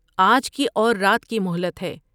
آج کی اور رات کی مہلت ہے ۔